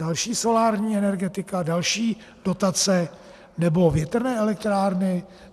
Další solární energetika, další dotace nebo větrné elektrárny?